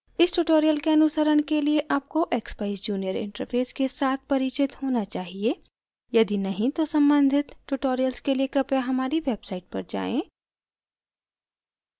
इस tutorial के अनुसरण के लिए आपको expeyes junior interface के साथ परिचित होना चाहिए यदि नहीं तो सम्बन्धित tutorials के लिए कृपया हमारी website पर जाएँ